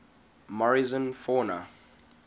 morrison fauna